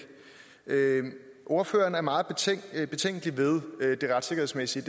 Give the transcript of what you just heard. ordføreren er meget betænkelig ved det retssikkerhedsmæssige